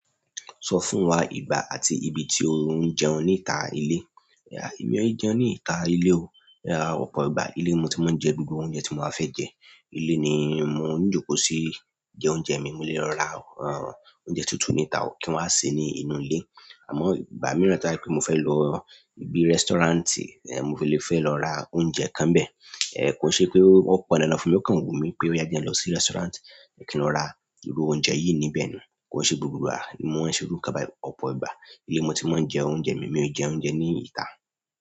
Sọ fún wa ìgbà àti ibi tí o ń jẹun níta ilé. Ẹ̀mi ò jẹun ní ìta ilé o. Ọ̀pọ̀ ìgbà, ilé ni mo ti máa ń jẹ gbogbo oúnjẹ tí mo fẹ́ jẹ. Ilé ni mo ń jókòó sí jẹ oúnjẹ mi. Mo lè lọ ra oúnjẹ tútù níta, kí n wá sè é ní inú ilé. Àmọ́ ìgbà mìíràn tí mo fẹ́ lọ ibi restaurant, mo lè fẹ́ lọ ra oúnjẹ kan bẹ́ẹ̀. Kò ṣe pé ọ̀pọ̀ ẹni lọ fún mi ó kàn wù mí pé yá jẹ́ ẹ lọ sí restaurant, ẹ kí n ra irú oúnjẹ yìí níbẹ̀. Kò ṣe gbogbo ni mo ma se iru ikan báyìí. Ọ̀pọ̀ ìgbà, ilé ni mo ti máa ń jẹ oúnjẹ mi. Mi ò jẹ oúnjẹ ní ìta.